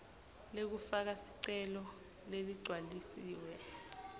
lekufaka sicelo leligcwalisiwe